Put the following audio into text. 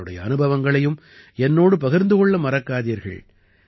உங்களுடைய அனுபவங்களையும் என்னோடு பகிர்ந்து கொள்ள மறக்காதீர்கள்